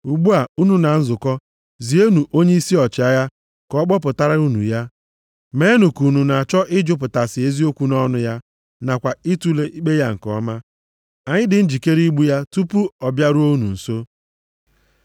Ugbu a, unu na nzukọ zienụ onyeisi ọchịagha ka ọ kpọpụtara unu ya. Meenụ ka unu na-achọ ịjụpụtasị eziokwu nʼọnụ ya nakwa itule ikpe ya nke ọma. Anyị dị njikere igbu ya nʼụzọ tupu ọ bịaruo unu nso.”